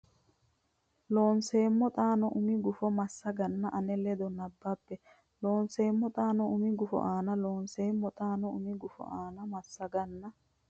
Loonseemmo xaano umi gufo ani massaganna ane ledo nabbabbe Loonseemmo xaano umi gufo ani Loonseemmo xaano umi gufo ani massaganna.